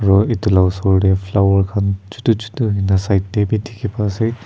aru etu laga osor te flower khan chotu chotu side te bhi dekhi pai ase.